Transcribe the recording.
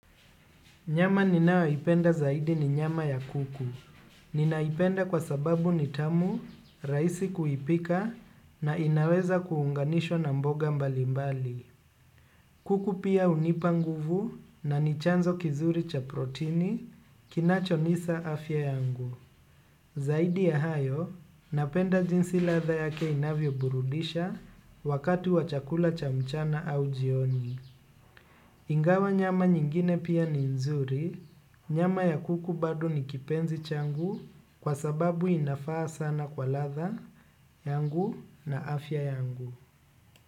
Nyama ninayoipenda zaidi ni nyama ya kuku. Ninaipenda kwa sababu ni tamu, rahisi kuipika na inaweza kuunganishwa na mboga mbalimbali. Kuku pia hunipa nguvu na ni chanzo kizuri cha protini kinachonisa afya yangu. Zaidi ya hayo, napenda jinsi ladha yake inavyoburudisha wakati wa chakula cha mchana au jioni. Ingawa nyama nyingine pia ni nzuri, nyama ya kuku bado ni kipenzi changu kwa sababu inafaa sana kwa ladha yangu na afya yangu.